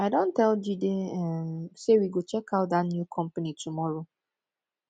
i don tell jide um say we go check out dat new company tomorrow